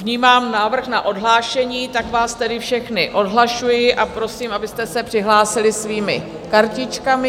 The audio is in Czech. Vnímám návrh na odhlášení, tak vás tedy všechny odhlašuji a prosím, abyste se přihlásili svými kartičkami.